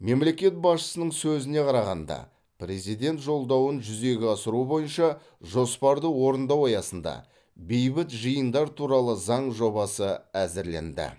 мемлекет басшысының сөзіне қарағанда президент жолдауын жүзеге асыру бойынша жоспарды орындау аясында бейбіт жиындар туралы заң жобасы әзірленді